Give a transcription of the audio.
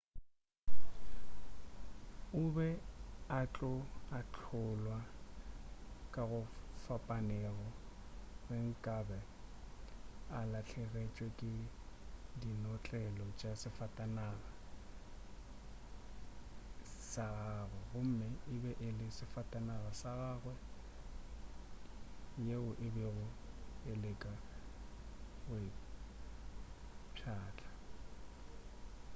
o be a tlo ahlolwa ka go fapanego ge nkabe a lahlegetšwe ke dinotlelo tša safatanaga ya gagwe gomme e be e le safatanaga ya gagwe yeo a bego a leka go e pšhatla